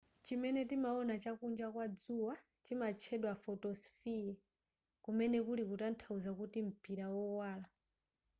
chimene timaona chakunja kwa dzuwa chimatchedwa photosphere kumene kuli kutanthauza kuti mpira wowala